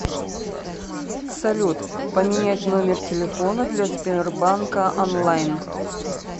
салют поменять номер телефона для сбербанка онлайн